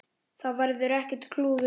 Það verður ekkert klúður núna.